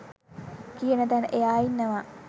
කියන තැන එයා ඉන්නවා.